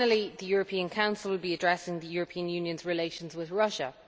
The European Council will be addressing the European Union's relations with Russia.